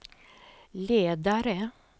ledare